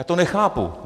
Já to nechápu.